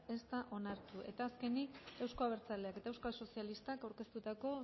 ez da onartu eta azkenik euzko abertzaleak eta euskal sozialistak aurkeztutako